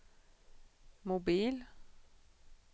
mobil